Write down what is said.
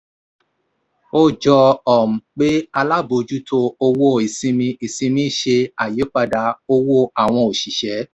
ó jọ um pé alábòójútó owó ìsinmi ìsinmi ṣe àyípadà owó àwọn òṣìṣẹ́.